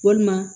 Walima